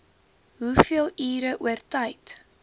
hoeveel ure oortyd